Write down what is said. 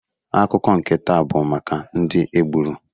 Akụkọ nke taa bụ maka ndị egburu.